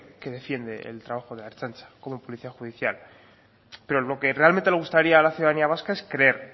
que defiende el trabajo de la ertzaintza como policía judicial pero lo que realmente le gustaría a la ciudadanía vasca es creer